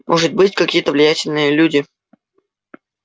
может быть какие-то влиятельные люди